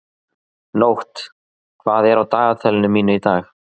Nótt, hvað er á dagatalinu mínu í dag?